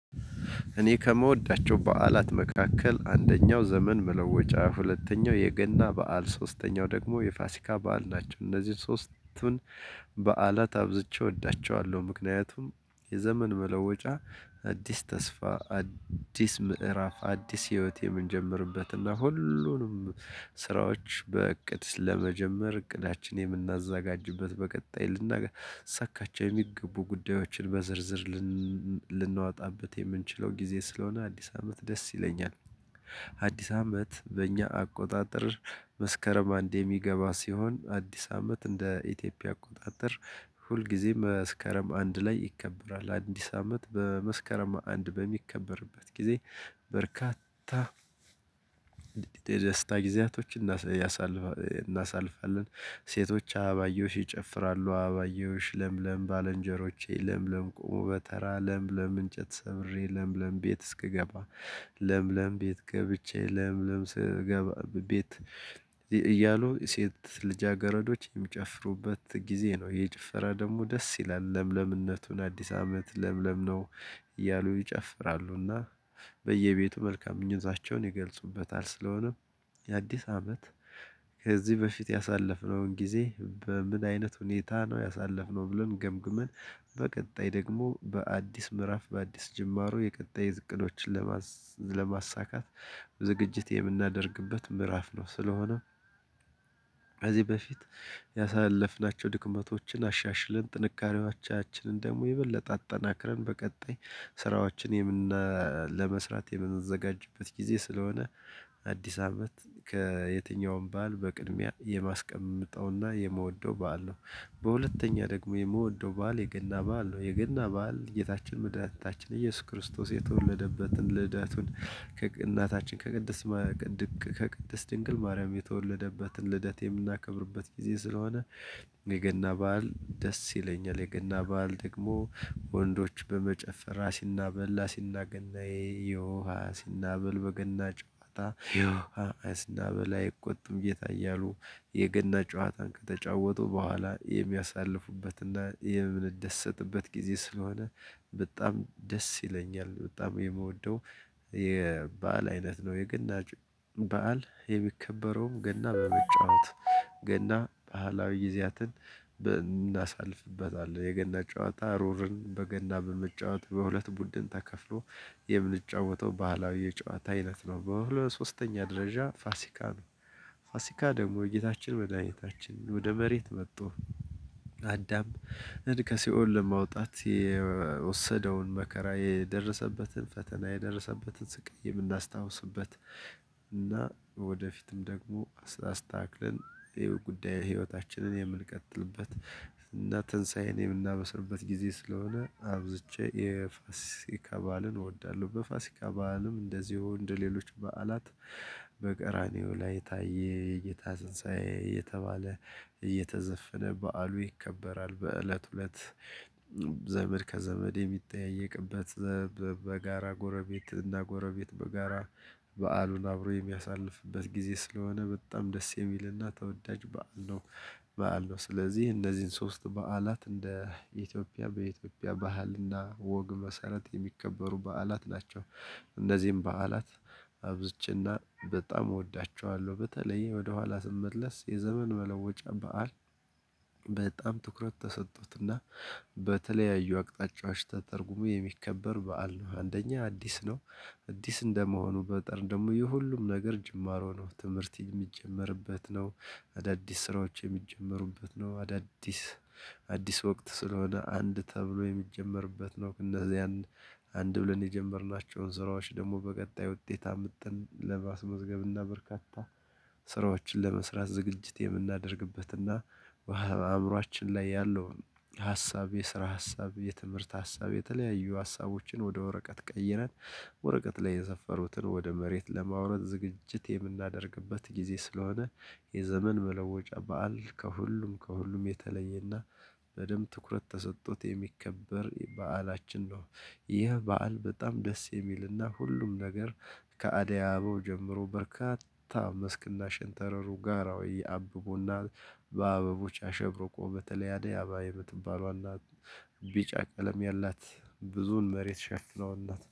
እኔ ከምወዳቸው በዓላት መካከል አንደኛው ዘመን መለወጫ ሁለተኛው የገና በዓል ሶስተኛው ደግሞ የፋሲካ በዓል ናቸው እነዚህን ሶስቱን በዓላት አብዝቼ እወዳቸዋለሁ። ምክንያቱም የዘመን መለወጫ አዲስ ተስፋ አዲስ ምዕራፍ አዲስ ህይወት የምንጀምርበትና ሁሉንም ስራዎች በእቅድ ለመጀመር እቅዳችን የምናዘጋጅበት በቀጣይ ልናሳካቸው የሚገቡ ጉዳዮችን በዝርዝር ልናወጣበት የምንችለው ጊዜ ስለሆነ አዲስ አመት ደስ ይለኛል። አዲስ አመት በእኛ አቆጣጠር መስከረም አንድ የሚገባ ሲሆን አዲስ አመት እንደ ኢትዮጵያ አቆጣጠር ሁልጊዜ መስከረም አንድ ላይ ይከበራል። አዲስ አመት በመስከረም አንድ በሚከበርበት ጊዜ በርካታ ደስታ ጊዜያቶችን እናሳልፋለን። ሴቶች አበባየውሽ ይጨፍራሉ አበባየሽ ለምለም ባልንጀሮቼ ለምለም ቆሞ በተራ ለምለም እንጨት ሰብሬ ለምለም ቤት እስክገባ ለምለም ቤት ገብቼ ለምለም ስገባ ቤት እያሉ ሴት ልጃገረዶች የሚጨፍሩበት ጊዜ ነው። የጭፈራ ደግሞ ደስ ይላል ለምለምነቱን አዲስ አመት ለምለምነው እያሉ ይጨፍራሉና በየቤቱ መልካም እኛዛቸውን ይገልጹበታል ስለሆነ። የአዲስ አመት ከዚህ በፊት ያሳለፍነውን ጊዜ በምን አይነት ሁኔታ ነው ያሳለፍነው ብሎን ገምግመን። በቀጣይ ደግሞ በአዲስ ምዕራፍ በአዲስ ጅምሩ የቀጣይ እቅዶችን ለማሳካት ዝግጅት የምናደርግበት ምዕራፍ ነው። ስለሆነ እዚህ በፊት ያሳለፍናቸው ድክመቶችን አሻሽልን ጥንካሬዋቻችንን ደግሞ የበለጠ አጠናክረን በቀጣይ ስራዎችን የምን ለመስራት የምንዘጋጅበት ጊዜ ስለሆነ። አዲስ አመት ከየትኛውም በዓል በቅድሚያ የማስቀመጥነውና የመወደው በዓል ነው። በሁለተኛ ደግሞ የምወደው በዓል የገና በዓል ነው። የገና በዓል ጌታችን መድኃኒታችን ከየሱስ ክርስቶስ የተወለደበትን ልደቱን ከእናታችን ከቅድስ ከቅድስት ድንግል ማርያም የተወለደበትን ልደት የምናከብርበት ጊዜ ስለሆነ የገና በዓል ደስ ይለኛል። የገና በዓል ደግሞ ወንዶች በመጨፈር አሲና በል አሲና ገናዬ ዬሃ አሲና በል በገና ጨዋታ ዬሃ አሲና በል አይቆጡም ጌታ እያሉ የገና ጨዋታን ከተጫወቱ በኋላ የሚያሳልፉበትና የምንደሰትበት ጊዜ ስለሆነ በጣም ደስ ይለኛል። በጣም የምወደው የበአል አይነት ነው የገና በዓል የሚከበረውም ገና በመጫወት ገና ባህላዊ ጊዜያትን እናሳልፍበታለን የገና ጨዋታ ሩርን በገና በመጫወት በሁለት ቡድን ተከፍሎ የምንጫወተው ባህላዊ የጨዋታ አይነት ነው። በሁለት ሶስተኛ ደረጃ ፋሲካ ነው ፋሲካ ደግሞ የጌታችን መድኃኒታችን ወደ መሬት መጥቶ ከሲኦል ለማውጣት የወሰደውን መከራ የደረሰበትን ፈተና የደረሰበትን ስቅዬ የምናስታውስበት እና ወደፊትም ደግሞ ስታስታክልን የህይወት ጉዳይ ህይወታችንን የምንቀጥልበት እና ትንሳኤን የምናበስርበት ጊዜ ስለሆነ አብዝቼ የፋሲካ በዓልን እወዳለሁ። በፋሲካ በዓልም እንደዚሁ እንደሌሎች በዓላት በቀራኒዮ ላይ ታየ እይታ ስንሳዬ እየተባለ እየተዘፈነ በዓሉ ይከበራል። በእለት እለት ዘመድ ከዘመድ የሚጠየቅበት በጋራ ጎረቤት እና ጎረቤት በጋራ በዓሉን አብሮ የሚያሳልፍበት ጊዜ ስለሆነ በጣም ደስ የሚልና ተወዳጅ በዓል ነው። በዓል ነው ስለዚህ እንደዚህን ሶስት በዓላት እንደ ኢትዮጵያ በኢትዮጵያ ባህልና ወግ መሰረት የሚከበሩ በዓላት ናቸው። እነዚህም በዓላት አብዝቼና በጣም እወዳቸዋለሁ። በተለይ ወደኋላ ስመለስ የዘመን መለወጫ በዓል በጣም ትኩረት ተሰጡትና በተለያዩ አቅጣጫዎች ተተርጉሞ የሚከበር በዓል ነው። አንደኛ አዲስ ነው። አዲስ እንደመሆኑ በጠር ደግሞ የሁሉም ነገር ጅማሮ ነው ትምህርት የሚጀምርበት ነው። አዳዲስ ስራዎች የሚጀመሩበት ነው። አዳዲስ አዲስ ወቅት ስለሆነ አንድ ተብሎ የሚጀመርበት ነው። ከእነዚህ አንድ ብለን የጀመርናቸውን ስራዎች ደግሞ በቀጣይ ውጤት አምጥን ለማስመዝገብና እና በርካታ ስራዎችን ለመስራት ዝግጅት የምናደርግበት እና በአእምሮአችን ላይ ያለውን ሀሳብ የስራ ሀሳብ የትምህርት ሀሳብ የተለያዩ ሀሳቦችን ወደ ወረቀት ቀይረን ወረቀት ላይ የሰፈሩትን ወደ መሬት ለማውረድ ዝግጅት የምናደርግበት ጊዜ ስለሆነ። የዘመን መለወጫ በዓል ከሁሉም ከሁሉም የተለየና በደንብ ትኩረት ተሰጥቶት የሚከበር በዓላችን ነው። ይህ በዓል በጣም ደስ የሚልና ሁሉም ነገር ከአደአበበው ጀምሮ በርካታ መስክና ሽንተረሩ ጋራዊ አብቦና በአበቦች አሸብርቆ በተለያደ አባይ በትባለዋና ቢጫ ቀለም ያላት ብዙን መሬት ሸፍነው እናት